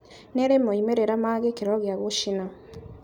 Nĩirĩ moimĩrĩra ma gĩkĩro gĩa gũcina